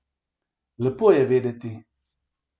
Lepo je vedeti.